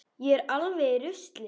Ég er alveg í rusli.